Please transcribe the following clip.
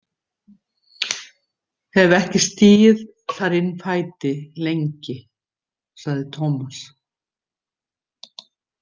Hef ekki stigið þar inn fæti lengi, sagði Tómas.